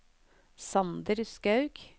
Sander Skaug